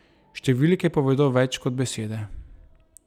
Številke povedo več kot besede.